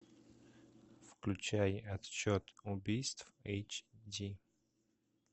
включай отсчет убийств эйч ди